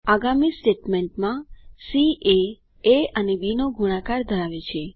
આગામી સ્ટેટમેન્ટમાં C A A અને બી નો ગુણાકાર ધરાવે છે